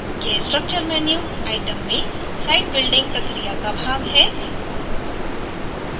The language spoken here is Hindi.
यह structure menu item में site building प्रक्रिया का भाग है